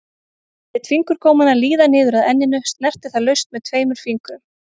Lét fingurgómana líða niður að enninu, snerti það laust með tveimur fingrum.